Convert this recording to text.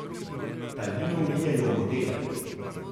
Talino vlijejo v modele.